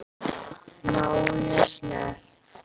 Má ég snerta?